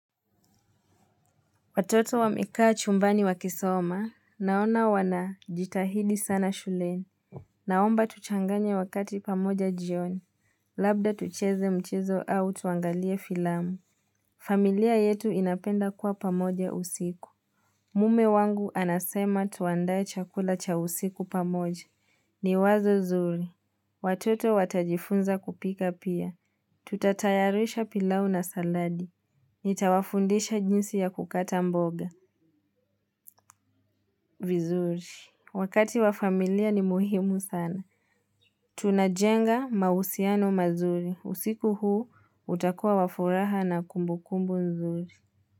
Watoto wamekaa chumbani wa kisoma. Naona wanajitahidi sana shuleni. Naomba tuchanganye wakati pamoja jioni. Labda tucheze mchezo au tuangalie filamu. Familia yetu inapenda kuwa pamoja usiku. Mume wangu anasema tuandae chakula cha usiku pamoja. Ni wazo nzuri. Watoto watajifunza kupika pia. Tutatayarisha pilau na saladi. Nitawafundisha jinsi ya kukata mboga vizuri. Wakati wa familia ni muhimu sana. Tunajenga mahusiano mazuri. Usiku huu utakua wafuraha na kumbu kumbu nzuri.